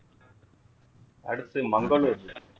அடுத்த் Mangaluru